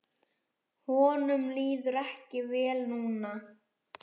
Honum líður ekki vel núna.